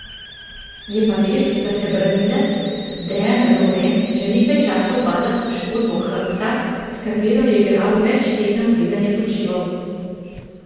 Je pa res, da se branilec Dejan Lovren že nekaj časa ubada s poškodbo hrbta, s katero je igral več tednov preden je počival.